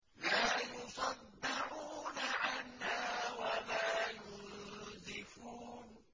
لَّا يُصَدَّعُونَ عَنْهَا وَلَا يُنزِفُونَ